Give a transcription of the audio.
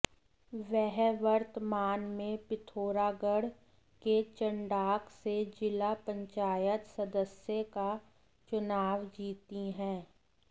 वह वर्तमान में पिथौरागढ़ के चंडाक से जिला पंचायत सदस्य का चुनाव जीतीं हैं